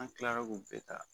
An kilara k'u bɛɛ ta